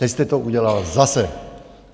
Teď jste to udělal zase!